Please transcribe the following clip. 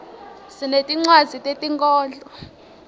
sinetinwadzi tetinkhondlo